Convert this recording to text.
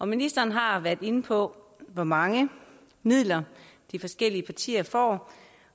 ministeren har været inde på hvor mange midler de forskellige partier får